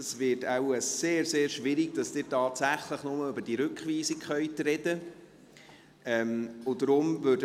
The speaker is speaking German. Es wird wohl sehr schwierig, dass Sie tatsächlich nur über diese Rückweisung sprechen können.